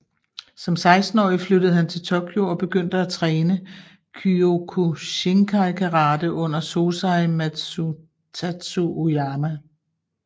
Som 16 årig flyttede han til Tokyo og begyndte at træne Kyokushinkai Karate under Sosai Masutatsu Oyama